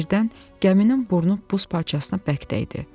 Birdən, gəminin burnu buz parçasına bərk dəydi.